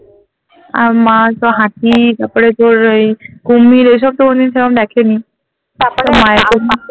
আহ মা তো হাতি তারপরে তোর এই কুমির এসব তো কোনসময় দেখে নি তো মায়ের জন্য